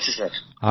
ঠিক আছে স্যার